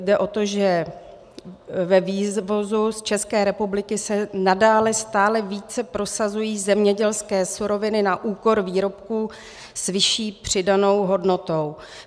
Jde o to, že ve vývozu z České republiky se nadále stále více prosazují zemědělské suroviny na úkor výrobků s vyšší přidanou hodnotou.